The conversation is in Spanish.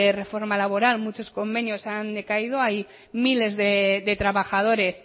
reforma laboral muchos convenios han decaído hay miles de trabajadores